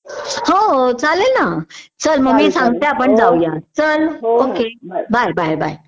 हो हो चालेल ना मग मी सांगते आपण जाऊया बाय बाय बाय